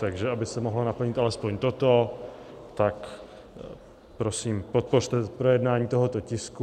Takže aby se mohlo naplnit alespoň toto, takže prosím, podpořte projednání tohoto tisku.